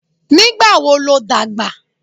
Nígbà wo ló dàgbà?